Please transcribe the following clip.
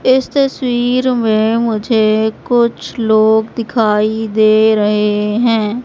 इस तस्वीर में मुझे कुछ लोग दिखाई दे रहे हैं।